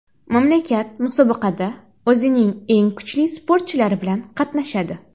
Mamlakat musobaqada o‘zining eng kuchli sportchilari bilan qatnashadi.